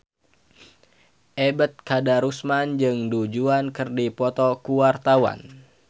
Ebet Kadarusman jeung Du Juan keur dipoto ku wartawan